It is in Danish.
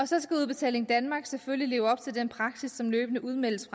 så skal udbetaling danmark selvfølgelig leve op til den praksis som løbende udmeldes